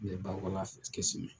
N bɛ bakɔla kɛsi